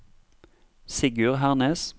Sigurd Hernes